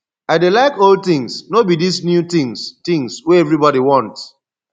i dey like old things no be dis new things things wey everybody want